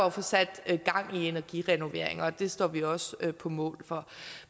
at få sat gang i energirenoveringer og det står vi også på mål for